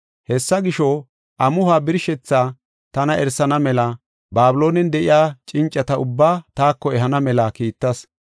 Hessa gisho, amuhuwa birshethaa tana erisana mela Babiloonen de7iya cincata ubbaa taako ehana mela kiittas.